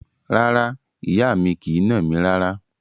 Rárá, ìyá mi kì í nà mí rárá.